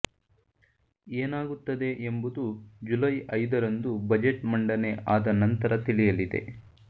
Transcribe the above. ಏನಾಗುತ್ತದೆ ಎಂಬುದು ಜುಲೈ ಐದರಂದು ಬಜೆಟ್ ಮಂಡನೆ ಆದ ನಂತರ ತಿಳಿಯಲಿದೆ